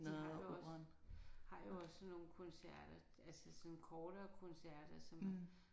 De har jo også har jo også sådan nogle koncerter altså sådan kortere koncerter som